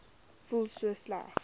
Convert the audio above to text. voel so sleg